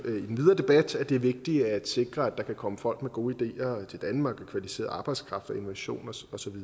debat at det er vigtigt at sikre at der kan komme folk med gode ideer til danmark kvalificeret arbejdskraft innovation og